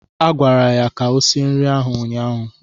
Agwara ya ka o sie nri ahụ ụnyaahụ!